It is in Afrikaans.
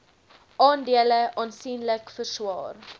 aandele aansienlik verswaar